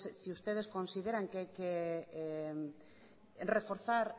si ustedes consideran que hay que reforzar